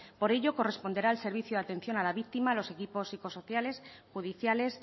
por ello corresponderá al servicio de atención los equipos psicosociales judiciales